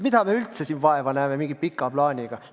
Mida me üldse siin vaeva näeme mingi pika plaaniga?